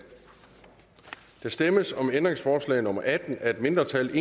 der stemmes om ændringsforslag nummer atten af et mindretal